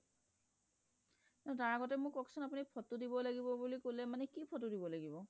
তাৰ আগতে কক চোন আপুনি ফটো দিবলৈ কলে মানে কি ফটো দিব লাগিব